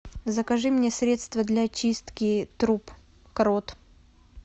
закажи мне средство для очистки труб крот